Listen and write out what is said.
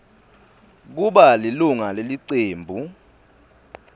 kuba lilunga lelicembu